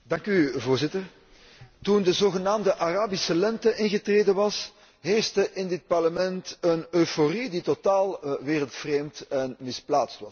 Voorzitter, toen de zogenaamde Arabische lente was ingetreden, heerste in dit Parlement een euforie die totaal wereldvreemd en misplaatst was.